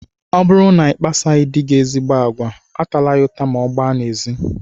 Ọ bụrụ na ị kpasoghị di gị ezigbo agwa, atala ya ụta ma ọ gbaa n'ezi!